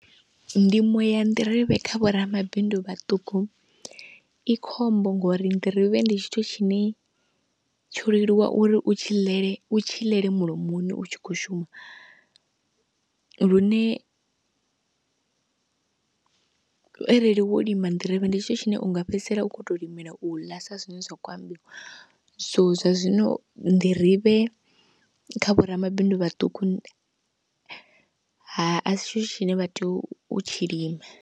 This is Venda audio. Ndimo ya nḓirivhe kha vho ramabindu vhaṱuku i khombo ngori nḓirivhe ndi tshithu tshine tsho leluwa uri u tshi ḽele u tshi ḽele mulomoni u tshi khou shuma, lune arali wo lima nḓirivhe ndi tshithu tshine u nga fhedzisela u khou tou limela u ḽa sa zwine zwa khou ambiwa, so zwa zwino nḓirivhe kha vho ramabindu vhaṱuku ha, asi tshithu tshine vha tea u tshi lima.